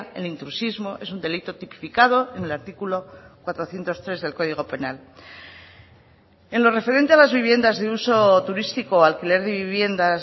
el intrusismo es un delito tipificado en el artículo cuatrocientos tres del código penal en lo referente a las viviendas de uso turístico alquiler de viviendas